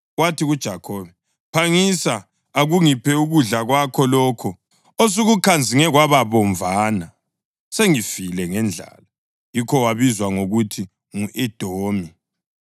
Wathi kuJakhobe, “Phangisa, akungiphe ukudla kwakho lokho osukukhanzinge kwaba bomvana! Sengifile ngendlala!” (Yikho wabizwa ngokuthi ngu-Edomi.)